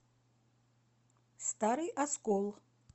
старый оскол